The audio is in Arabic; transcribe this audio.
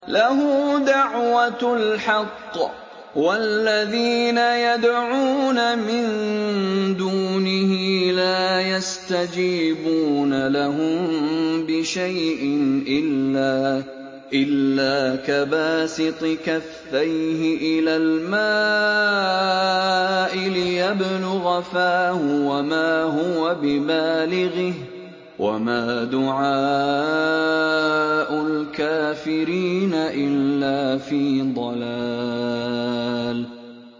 لَهُ دَعْوَةُ الْحَقِّ ۖ وَالَّذِينَ يَدْعُونَ مِن دُونِهِ لَا يَسْتَجِيبُونَ لَهُم بِشَيْءٍ إِلَّا كَبَاسِطِ كَفَّيْهِ إِلَى الْمَاءِ لِيَبْلُغَ فَاهُ وَمَا هُوَ بِبَالِغِهِ ۚ وَمَا دُعَاءُ الْكَافِرِينَ إِلَّا فِي ضَلَالٍ